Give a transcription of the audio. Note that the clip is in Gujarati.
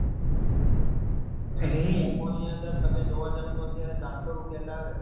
ની અંદર તમે જોવા જાવ તો અત્યારે ચારસો રૂપિયા ચાલે છે.